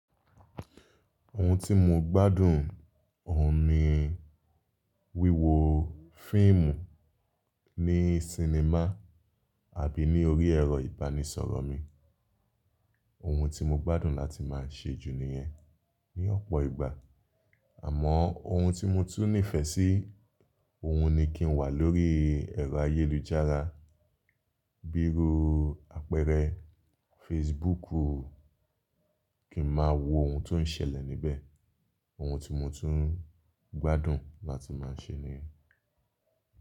Ohun tí mo gbádùn, òun ni wíwo fíìmù ní sinimá àbí ní orí ẹ̀rọ ìbánisọ̀rọ̀ mi. Ohun tí mo gbádùn láti máa ṣe jù nìyẹn ní ọ̀pọ̀ ìgbà. Àmọ́ ohun tí mo tún nífẹ̀ẹ́ sí, òun ni kí n wà lórí ẹ̀rọ ayélujára, bí i rú àpẹẹrẹ Facebook, kí n máa wo ohun tó ń ṣẹlẹ̀ níbẹ̀. Ohun tí mo tún gbádùn láti máa ṣe niyen.